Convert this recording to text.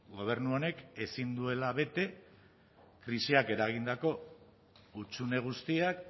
gobernu honek ezin duela bete krisiak eragindako hutsune guztiak